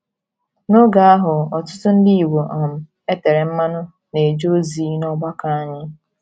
N’oge ahụ, ọtụtụ Ndị Igbo um e tere mmanụ na - eje ozi n’ọgbakọ anyị.